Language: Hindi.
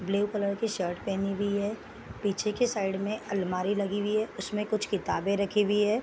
ब्लू कलर की शर्ट पहनी हुई है पीछे की साइड में अलमारी लगी हुई है उसमे कुछ किताबे रखी हुई है |